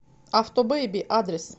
автобеби адрес